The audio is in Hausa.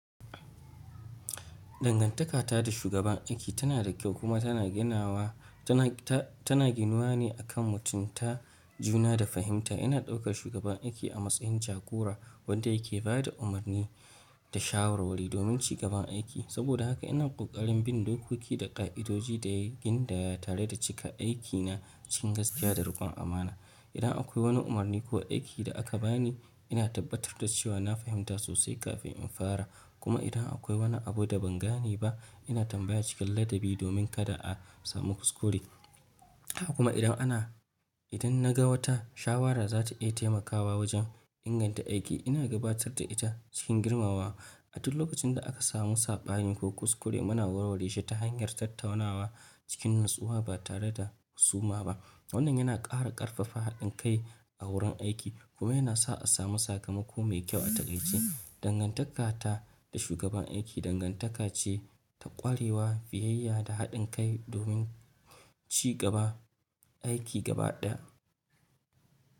Dangantaka ta da shugaban aiki tana da kyau kuma tana ginawa tana ginuwa ne akan mutunta juna da fahimta. Ina ɗaukar shugaban aiki a matsayin jagora wanda yake ba da umarni da shawarwari domin cigaban aiki. Saboda haka ina ƙoƙarin bin dokoki da ƙa'idoji da ya gina tare da cika aikina cikin gaskiya da riƙon amana. Idan akwai wani umarni ko aiki da aka bani, ina tabbatar da cewa na fahimta sosai kafin in fara. Kuma idan akwai wani abu da ban gane ba, ina tambaya cikin ladabi domin kada a samu kuskure. Haka kuma, idan na ga wata shawara za ta iya taimakawa wajen inganta aiki, ina gabatar da ita cikin girmamawa. A duk lokacin da aka samu saɓani ko kuskure, muna warware shi ta hanyar tattaunawa cikin natsuwa ba tare da husuma ba. Wannan yana ƙara ƙarfafa haɗin kai a wurin aiki kuma yana sa a samu sakamako mai kyau a taƙaice. Dangantaka ta da shugaban aiki dangantaka ce ta ƙwarewa, biyayya, da haɗin kai domin cigaban aiki gaba ɗaya.